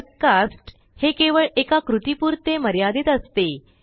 typecast हे केवळ एका कृतीपुरते मर्यादित असते